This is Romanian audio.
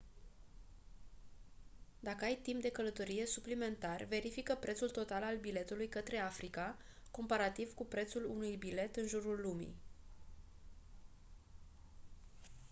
dacă ai timp de călătorie suplimentar verifică prețul total al biletului către africa comparativ cu prețul unui bilet în jurul lumii